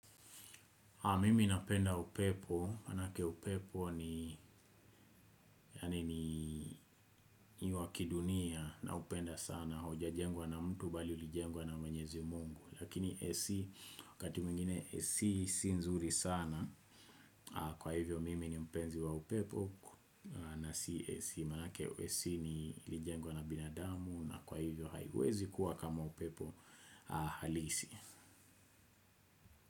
Mimi napenda upepo, manake upepo ni ni wakidunia naupenda sana, hujajengwa na mtu bali ulijengwa na mwenyezi mungu. Lakini AC, wakati mwingine AC si nzuri sana, kwa hivyo mimi ni mpenzi wa upepo, na si AC. Manake AC ni ilijengwa na binadamu, na kwa hivyo haiwezi kuwa kama upepo halisi.